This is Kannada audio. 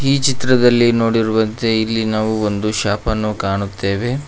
ಈ ಚಿತ್ರದಲ್ಲಿ ನೋಡಿರುವಂತೆ ಇಲ್ಲಿ ನಾವು ಒಂದು ಶಾಪನ್ನು ಕಾಣುತ್ತೇವೆ.